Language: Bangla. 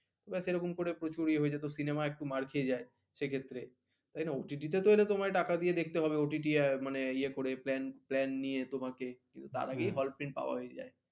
এবার সেরকম করে প্রচুর ইয়ে হয়ে যেত cinema একটু মার খেয়ে যাই সেই ক্ষেত্রে তাই না OTT এলে তোমায় টাকা দিয়ে দেখতে হবে। OTT মানে ইয়া করে plan নিয়ে তোমাকে তার আগেই hall print পাওয়া হয়ে যায়